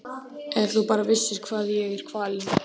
Ef þú bara vissir hvað ég er kvalinn.